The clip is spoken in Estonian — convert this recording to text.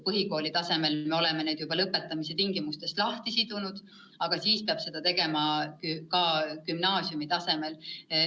Põhikoolitasemel me oleme seda juba teinud, aga siis peab seda tegema ka gümnaasiumitasemel.